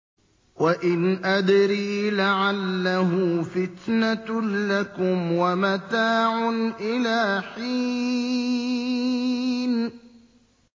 وَإِنْ أَدْرِي لَعَلَّهُ فِتْنَةٌ لَّكُمْ وَمَتَاعٌ إِلَىٰ حِينٍ